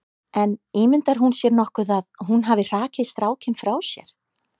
En ímyndar hún sér nokkuð að hún hafi hrakið strákinn frá sér?